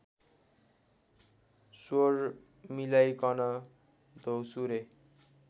श्वर मिलाइकन द्यौसुरे